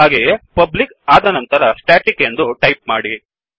ಹಾಗಾಗಿ publicಪಬ್ಲಿಕ್ ಆದ ನಂತರ staticಸ್ಟೆಟಿಕ್ ಎಂದು ಟಾಯಿಪ್ ಮಾಡಿ